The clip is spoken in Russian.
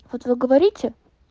вот вы говорите